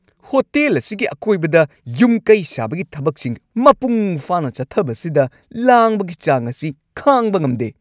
Hotel ꯑꯁꯤꯒꯤ ꯑꯀꯣꯏꯕꯗ ꯌꯨꯝ-ꯀꯩ ꯁꯥꯕꯒꯤ ꯊꯕꯛꯁꯤꯡ ꯃꯄꯨꯡ ꯐꯥꯅ ꯆꯠꯊꯕꯁꯤꯗ ꯂꯥꯡꯕꯒꯤ ꯆꯥꯡ ꯑꯁꯤ ꯈꯥꯡꯕ ꯉꯝꯗꯦ ꯫